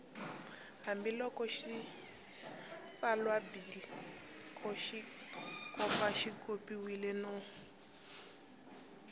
hambiloko xitsalwambiko xi xopaxopiwile no